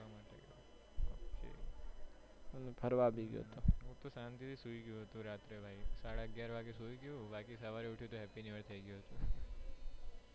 હું તો શાંતિ રહી સુઈ ગયો તો રાત્રે ભાઈ સાડા અગિયાર વાગે સુઈ ગયો બાકી સવારે ઉઠ્યો તો happy new year થયી ગયું હતું.